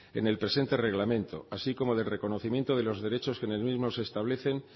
en el presente reglamento así como del reconocimiento de los derechos que en el mismo se establecen